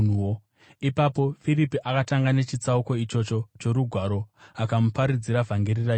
Ipapo Firipi akatanga nechitsauko ichocho choRugwaro akamuparidzira vhangeri raJesu.